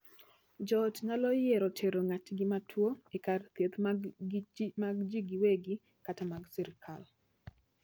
Joot nyalo yiero tero ng'atgi matuo e kar thieth mag jii giwegi kata mag sirkal.